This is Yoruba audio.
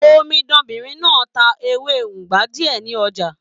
Omidanbinrin náà ta ewé ugba diẹ ní ọjà.